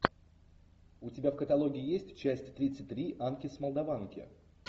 у тебя в каталоге есть часть тридцать три анки с молдаванки